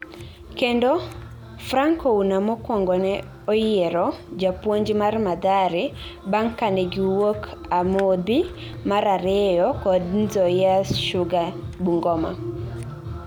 kendo , Frank Ouna mokuongo ne oyiero Japuonj mar Mathare bang kane giwuok amodhi mar ariyo kod Nzoia Sugar Bungoma